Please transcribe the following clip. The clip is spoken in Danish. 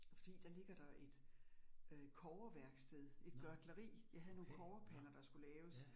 Fordi der ligger der et øh kobberværksted, et gørtleri. Jeg havde nogle kobberpander, der skulle laves